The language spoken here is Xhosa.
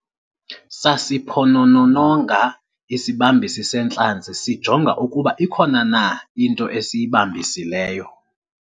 sasiphonononga isibambisi seentlanzi sijonga ukuba ikhona na into esiyibambisileyo